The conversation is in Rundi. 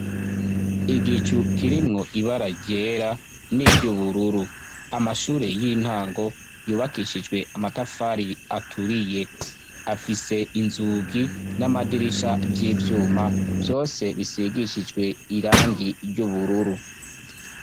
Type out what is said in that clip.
Igicu kirimwo ibara ryera n'iryubururu amashure y'intango yubakishijwe amatafari aturiye afise inzugi n'amadirisha vyivyuma vyose bisigishijwe irangi ry'ubururu.